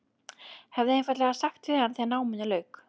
Hefði einfaldlega sagt við hann þegar náminu lauk.